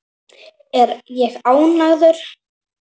Er ég ánægður?